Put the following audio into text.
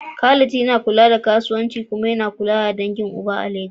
Khalid yana kula da kasuwancin iyali kuma yana kula da tsarin dangin uba a Legas.